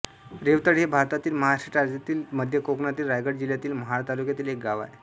रेवतळे हे भारतातील महाराष्ट्र राज्यातील मध्य कोकणातील रायगड जिल्ह्यातील महाड तालुक्यातील एक गाव आहे